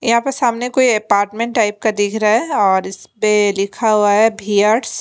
यहाँ पर सामने कोई अपार्टमेंट टाइप का दिख रहा है और इसमें में लिखा हुआ है बीयर्स --